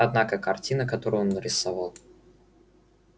однако картина которую он нарисовал